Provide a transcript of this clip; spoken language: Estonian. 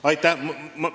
Aitäh!